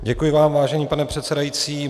Děkuji vám, vážený pane předsedající.